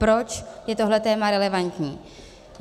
Proč je tohle téma relevantní.